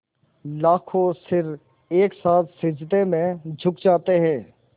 लाखों सिर एक साथ सिजदे में झुक जाते हैं